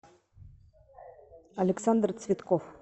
александр цветков